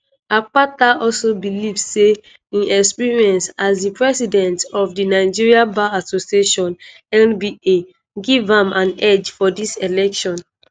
akpata also believe say im experience as di president of di nigerian bar association (nba) give am an edge for dis election.